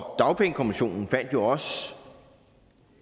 og dagpengekommissionen fandt jo også